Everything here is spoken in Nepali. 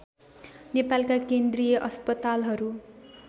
नेपालका केन्द्रीय अस्पतालहरू